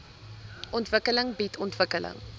ontwikkeling bied ontwikkeling